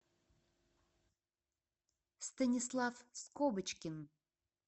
станислав скобочкин